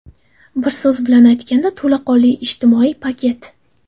Bir so‘z bilan aytganda to‘laqonli ijtimoiy paket.